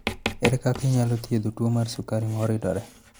Ere kaka inyalo thiedh tuo mar sukari ma oridore?